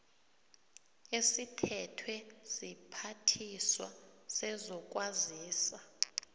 esithethwe siphathiswa sezokwazisa